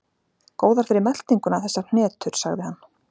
Góðar fyrir meltinguna, þessar hnetur sagði hann.